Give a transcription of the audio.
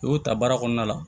U y'o ta baara kɔnɔna la